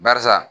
Barisa